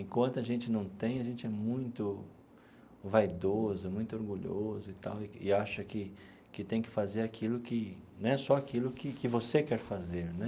Enquanto a gente não tem, a gente é muito vaidoso, muito orgulhoso e tal, e acha que que tem que fazer aquilo que né... só aquilo que que você quer fazer, né?